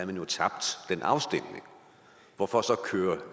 vi jo tabt den afstemning hvorfor så køre